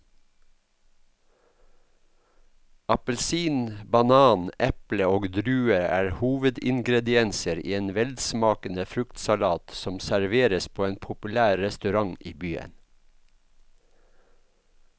Appelsin, banan, eple og druer er hovedingredienser i en velsmakende fruktsalat som serveres på en populær restaurant i byen.